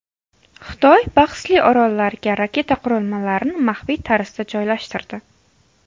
Xitoy bahsli orollarga raketa qurilmalarini maxfiy tarzda joylashtirdi.